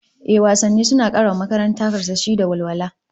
Ehh, wasanni suna kara wa makaranta karsashi da walwala